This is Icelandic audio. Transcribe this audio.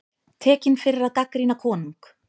Tekinn fyrir að gagnrýna konung